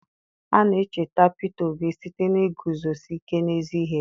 a na-echeta peter obi site na iguzosi ike n'ezi ihe ya